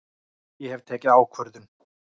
Ég hef tekið ákvörðun!